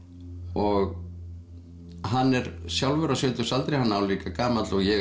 og hann er sjálfur á sjötugsaldri hann er álíka gamall og ég